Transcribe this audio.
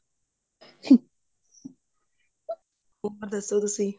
ਉੱਪਰ ਦੱਸੋ ਤੁਸੀਂ